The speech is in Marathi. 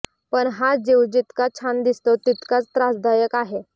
पण हा जीव जितका छान दिसतो तितकाच त्रासदायक आहे